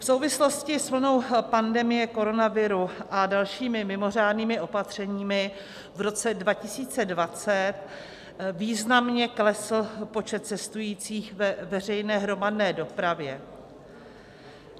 V souvislosti s vlnou pandemie koronaviru a dalšími mimořádnými opatřeními v roce 2020 významně klesl počet cestujících ve veřejné hromadné dopravě.